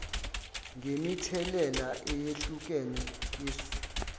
ngemithelela eyehlukene yesu